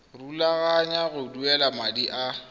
rulaganya go duela madi a